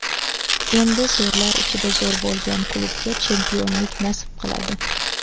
Endi zo‘rlar ichida zo‘r bo‘lgan klubga chempionlik nasib qiladi.